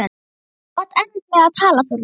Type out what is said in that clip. Þú átt erfitt með að tala Þórhildur.